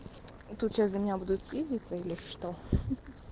тут сейчас за меня будут пиздеться или что